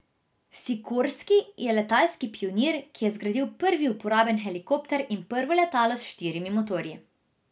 Sikorski je letalski pionir ki je zgradil prvi uporaben helikopter in prvo letalo z štirimi motorji.